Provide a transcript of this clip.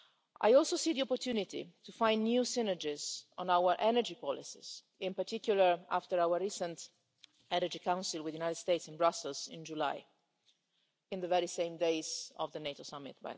I also see the opportunity to find new synergies on our energy policies, in particular after our recent Energy Council with the USA in Brussels in July at the very same time, by the way, as the NATO summit.